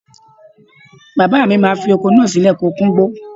Bàbáà mi má fi oko náà sílẹ̀ kó kúngbó.